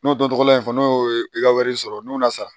N'o dɔ tɔgɔ la in fɔ n'o ye i ka wari sɔrɔ n'o nana sara